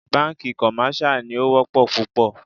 Bánkì commercial ní o wọ́pọ̀ púpọ̀.